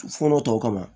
Fɔlɔ tɔw kama